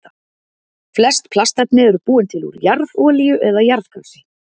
Flest plastefni eru búin til úr jarðolíu eða jarðgasi.